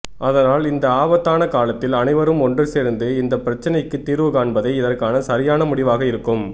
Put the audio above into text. அதனால் இந்த ஆபத்தான காலத்தில் அனைவரும் ஒன்று சேர்ந்து இந்தப் பிரச்னைக்குத் தீர்வு காண்பதே இதற்கான சரியான முடிவாக இருக்கும்